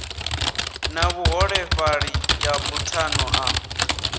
na vhuholefhali ya buthano ḽa